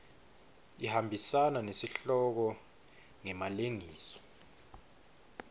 ihambisana nesihloko ngemalengiso